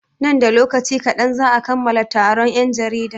Nan da lokaci kaɗan za'a kammala taron 'yan jarida.